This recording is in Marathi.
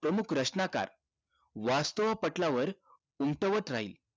प्रमुख रचनाकार वास्थाव पटलावर उमटवत राहील